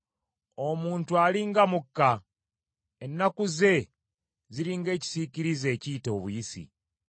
Omuntu ali nga mukka. Ennaku ze ziri ng’ekisiikirize ekiyita obuyisi.